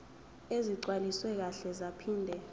ezigcwaliswe kahle zaphinde